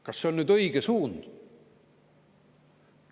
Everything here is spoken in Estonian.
Kas see on õige suund?